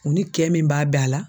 U ni kɛ min b'a bɛn a la